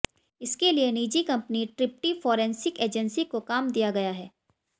इसके लिए निजी कंपनी ट्रिप्टी फॉरेंसिक एजेंसी को काम दिया गया है